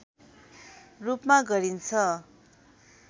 रूपमा गरिन्छ